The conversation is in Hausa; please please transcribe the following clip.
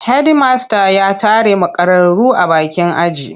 Hedimasta ya tare makararru a bakin aji.